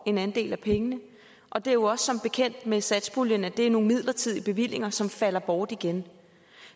en andel af pengene og det er jo med satspuljen at det er nogle midlertidige bevillinger som falder bort igen